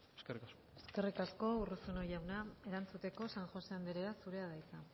eskerrik asko eskerrik asko urruzuno jauna erantzuteko san josé anderea zurea da hitza